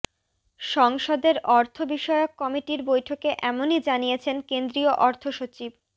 সংসদের অর্থ বিষয়ক কমিটির বৈঠকে এমনই জানিয়েছেন কেন্দ্রীয় অর্থসচিব